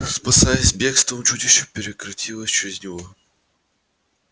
спасаясь бегством чудище перекатилось через него